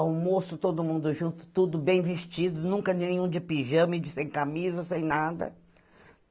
Almoço todo mundo junto, tudo bem vestido, nunca nenhum de pijama, sem camisa, sem nada.